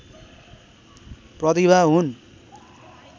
प्रतिभा हुन्